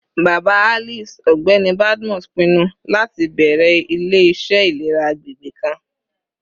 Baba Alice, Ọgbẹni Badmus, pinnu lati bẹrẹ ile-iṣẹ ilera agbegbe kan